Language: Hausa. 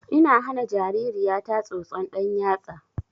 Ina hana jaririya ta tsotson ɗan yatsa